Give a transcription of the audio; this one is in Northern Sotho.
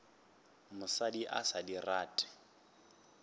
mosadi a sa di rate